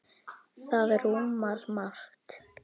Það rúmar margt.